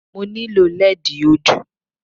Mo nílò lẹ́ẹ̀dì ojú